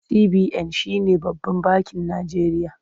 CBN shi ne babban bakin Najeriya.